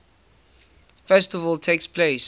festival takes place